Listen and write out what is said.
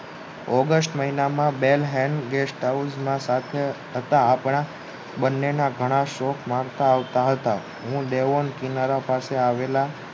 August મહિનામાં બેલ હેં guest house માં હતા આપણા બંને ના ઘણા શોખ મળતા આવતા હતા હું ડેવોન કિનારા પાસે આવેલા